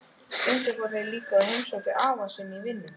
Stundum fóru þeir líka og heimsóttu afa í vinnuna.